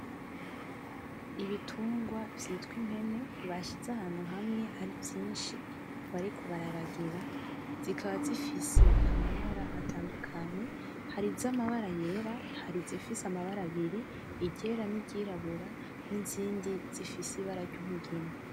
Ibitungwa vyitw'impene bashize ahantu hamwe ari vyinshi bariko bararagira, zikaba zifise amabara atandukanye, hari iz'amabara yera, hari izifise amabara abiri i ryera; n'iryirabura, n'izindi zifise ibara ry'umugina.